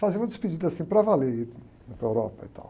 Fazer uma despedida assim para valer ir para a Europa e tal.